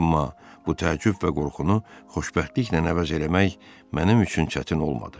Amma bu təəccüb və qorxunu xoşbəxtliklə əvəz eləmək mənim üçün çətin olmadı.